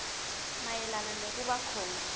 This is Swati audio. mayelana nekuba khona